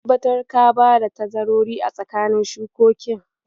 Ka tabbatar ka bada tazarori a tsakanin shukokin.